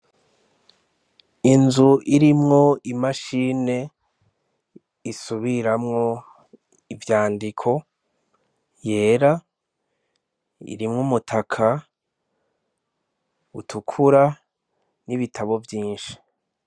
Inzu irimwo imashini isubiramwo ivyandiko yera, irimwo umutaka utukura n'ibitabo vyinshi.